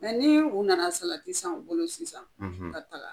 nii u nana salati san u bolo sisan ka taga